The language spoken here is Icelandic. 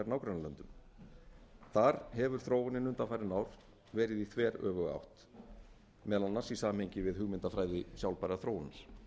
nágrannalöndum þar hefur þróunin undanfarin ár verið í þveröfuga átt meðal annars í samhengi við hugmyndafræði sjálfbærrar þróunar